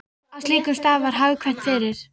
Á slíkum stað var hagkvæmt fyrir